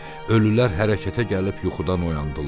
Ölülər hərəkətə gəlib yuxudan oyandılar.